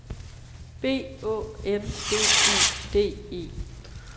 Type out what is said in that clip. B Å N D E D E